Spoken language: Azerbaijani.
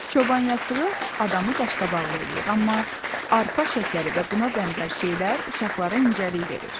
Çoban yastığı adamı qaş-qabaqlı eləyir, amma arpa şəkəri və buna bənzər şeylər uşaqlara incəlik verir.